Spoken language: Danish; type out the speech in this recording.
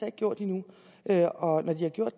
ikke gjort endnu og når de har gjort